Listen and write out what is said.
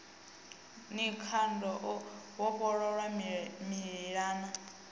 ni khada o vhofholowa mililani